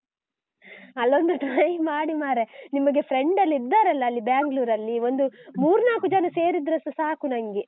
ಅಲ್ಲೊಂದು try ಮಾಡಿ ಮರ್ರೆ, ನಿಮಗೆ friend ಎಲ್ಲಾ ಇದ್ದಾರೆ ಅಲಾ Bangalore ಅಲ್ಲಿ, ಒಂದ್ ಮೂರ್ ನಾಕ್ ಜನ ಸೇರಿದ್ರೆ ಸಾಕು ನಂಗೆ.